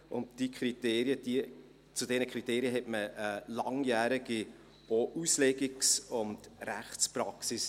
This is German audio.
Zu diesen Kriterien hat man auch eine langjährige Auslegungs- und Rechtspraxis;